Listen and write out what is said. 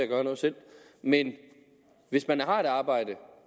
gøre noget selv men hvis man har et arbejde